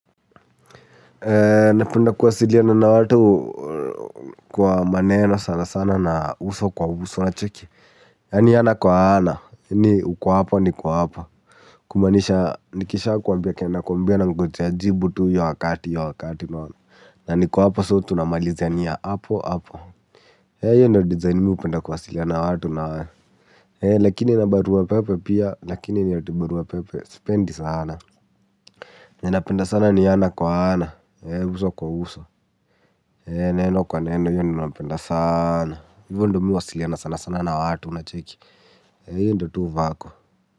Napenda kuwasiliana na watu kwa maneno sana sana na uso kwa uso unacheki. Yaani ana kwa ana ni uko hapo niko hapo. Kumaanisha nikishakuambia kenye nakuambia nangojea jibu tu hiyo wakati hiyo wakati unaona. Na niko hapo so tunamalizania hapo hapo. Hiyo ndio design mi hupenda kuwasiliana na watu nayo lakini na barua pepe pia lakini ni ati barua pepe sipendi sana. Ninapenda sana ni ana kwa ana. Uso kwa uso. Neno kwa neno hiyo ndio napenda sana. Hivo ndio mi huwasiliana sana sana na watu unacheki. Hiyo ndio tu vako.